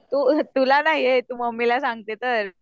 तू तुला नाही येत मम्मीला सांगते तर